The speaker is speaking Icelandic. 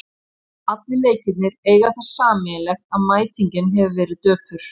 Allir leikirnir eiga það sameiginlegt að mætingin hefur verið döpur.